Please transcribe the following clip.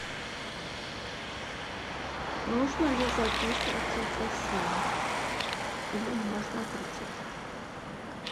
нужно ли записываться в бассейн или можно прийти так